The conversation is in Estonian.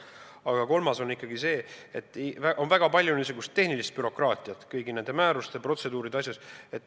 Aga ikkagi on väga palju niisugust tehnilist bürokraatiat kõigi nende määruste ja protseduuride asjas.